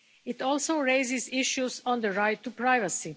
It also raises issues on the right to privacy.